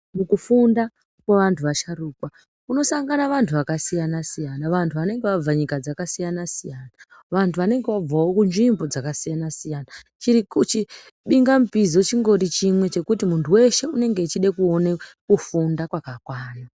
Mukufunda kwevantu vasharuka kunosanga vantu vakasiyana siyana vantu vanenge vabva kunyika dzakasiyana siyana vantu vanenge vabvawo kunzvimbo dzakasiyana siyana chibingapizo chingori chimwe chekuti muntu weshe unenge echide kuone kufunda kwakakwana.